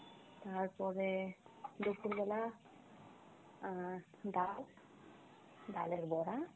তারপরে দুপুরবেলা আহ ডাল, ডালের বড়া